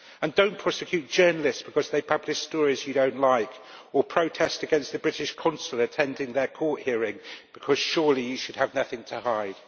Do not prosecute journalists because they publish stories you do not like or protest against the British Consul attending their court hearing, because surely you should have nothing to hide.